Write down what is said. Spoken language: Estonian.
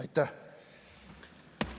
Aitäh!